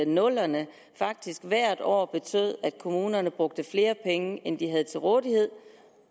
nullerne faktisk hvert år betød at kommunerne brugte flere penge end de havde til rådighed